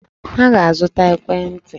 Ha ga-azụta ekwentị!